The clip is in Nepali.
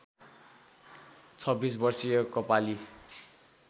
२६ वर्षीय कपाली